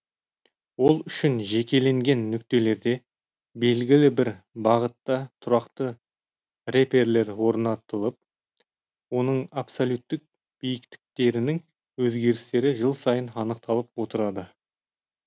ол үшін жекеленген нүктелерде белгілі бір барытта тұрақты реперлер орнатылып оның абсолюттік биіктіктерінің өзгерістері жыл сайын анықталып отырады